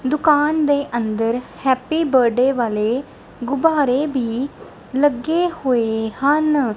ਦੁਕਾਨ ਦੇ ਅੰਦਰ ਹੈਪੀ ਬਰਡੇ ਵਾਲੇ ਗੁਬਾਰੇ ਭੀ ਲੱਗੇ ਹੋਏ ਹਨ।